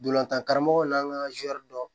Ndolantan karamɔgɔw n'an ka dɔn